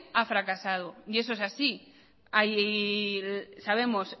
ha fracasado y eso es así hay sabemos